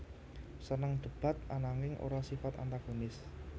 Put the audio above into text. Seneng debat ananging ora sifat antagonis